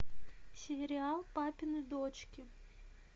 сериал папины дочки